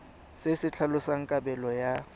se se tlhalosang kabelo ya